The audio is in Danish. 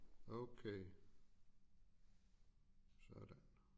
Okay sådan